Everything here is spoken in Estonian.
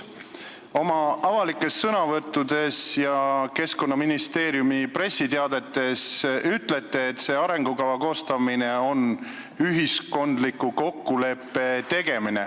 Oma avalikes sõnavõttudes ja Keskkonnaministeeriumi pressiteadetes ütlete, et see arengukava koostamine on ühiskondliku kokkuleppe tegemine.